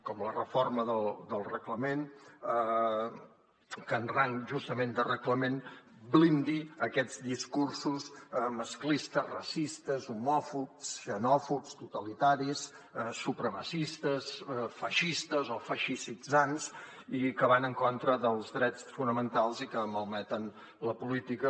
com la reforma del reglament que en rang justament de reglament blindi aquests discursos masclistes racistes homòfobs xenòfobs totalitaris supremacistes feixistes o feixistitzants i que van en contra dels drets fonamentals i que malmeten la política